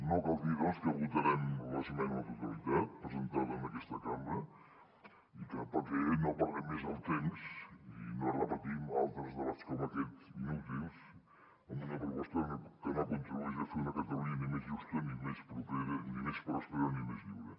no cal dir doncs que votarem l’esmena a la totalitat presentada en aquesta cambra perquè no perdem més el temps i no repetim altres debats com aquest inútils amb una proposta que no contribueix a fer una catalunya ni més justa ni més propera ni més pròspera ni més lliure